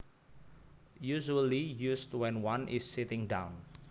Usually used when one is sitting down